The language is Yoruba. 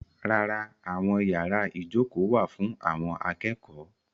Rárá, àwọn yàrá ìjókòó wà fún àwọn akẹ́kọ̀ọ́.